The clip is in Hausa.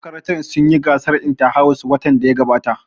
Makarantar sun yi gasar inta-house watan da ya gabata